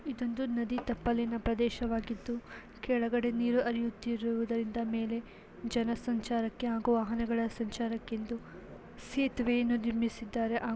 ಇದೊಂದು ನದಿ ತಪ್ಪಲಿನ ಪ್ರದೇಶವಾಗಿದ್ದು ಕೆಳಗಡೆ ನೀರು ಹರಿಯುತ್ತಿರುವುದರಿಂದ ಮೇಲೆ ಜನ ಸಂಚಾರಕ್ಕೆ ಹಾಗೂ ವಾಹನಗಳ ಸಂಚಾರಕೆಂದು ಸೇತುವೆಯನ್ನು ನಿರ್ಮಿಸಿದ್ದಾರೆ ಹಾಗೂ --